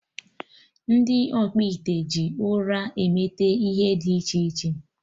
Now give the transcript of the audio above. Ndị ọkpụite ji ụrọ emete ihe dị iche iche